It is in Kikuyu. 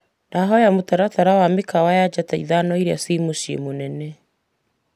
Ndahoya mũtaratara wa mĩkawa ya njata ithano iria ci muciĩ mũnene.